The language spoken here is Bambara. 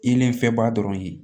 I ye n fɛ ba dɔrɔn ye